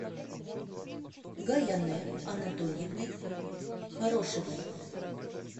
гаянэ анатольевной хорошевой